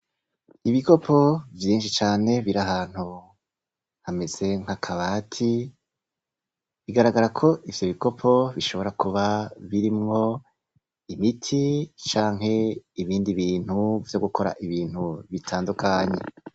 Ibikopo vyinshi cane biri ahantu hameze nkakabati biragaraga ko ivyo bikopo bishobora kuba birimwo imiti canke ibindi bintu vyogukora ibindi bintu bitandukanye